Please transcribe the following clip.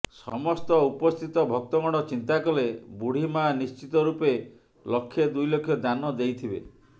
ସମସ୍ତ ଉପସ୍ଥିତ ଭକ୍ତଗଣ ଚିନ୍ତା କଲେ ବୁଢୀମାଆ ନିଶ୍ଚିତ ରୁପେ ଲକ୍ଷେ ଦୁଇଲକ୍ଷ ଦାନ ଦେଇଥିବେ